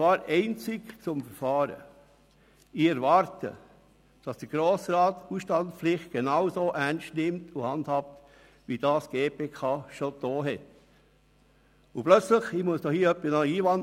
Ich erwarte, dass der Grosse Rat die Ausstandspflicht genauso ernst nimmt und handhabt, wie es die GPK schon getan hat.